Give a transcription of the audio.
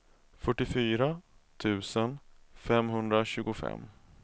fyrtiofyra tusen femhundratjugofem